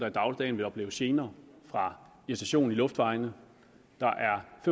i dagligdagen vil opleve gener fra irritation i luftvejene